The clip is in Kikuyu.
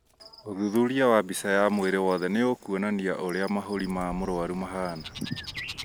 ũthuthuria wa mbica ya mwĩrĩ wothe nĩũkuonania ũrĩa mahũri ma mũrwaru mahana